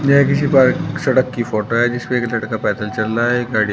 यह किसी पार्क सड़क की फोटो है जिसमें एक लड़का पैदल चल रहा है एक गाड़ी--